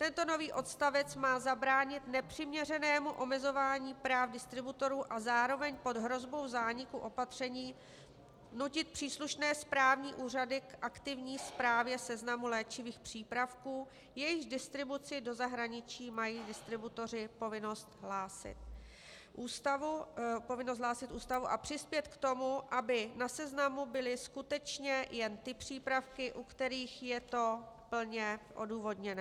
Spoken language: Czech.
Tento nový odstavec má zabránit nepřiměřenému omezování práv distributorů a zároveň pod hrozbou zániku opatření nutit příslušné správní úřady k aktivní správě seznamu léčivých přípravků, jejichž distribuci do zahraničí mají distributoři povinnost hlásit ústavu, a přispět k tomu, aby na seznamu byly skutečně jen ty přípravky, u kterých je to plně odůvodněné.